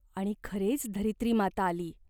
आणि खरेच धरित्रीमाता आली.